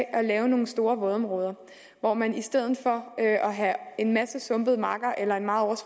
at lave nogle store vådområder hvor man i stedet for at have en masse sumpede marker eller en meget